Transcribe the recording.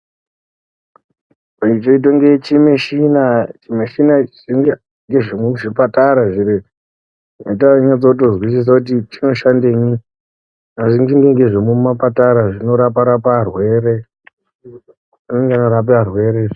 Ichi chinoita kunge chimushini, chimishina chinenge chemuzvipatara zviro izvi, atianyatsokutozwisisa kuti chinoshandenyi. Asi ngechemumapatara zvinorapa-rapa arwere, zvinorape arwere izvi.